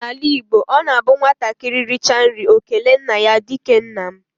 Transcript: Na ala Igbo, ọ na abụ nwatakịrị richa nri ọ kelee nna ya dike nna m.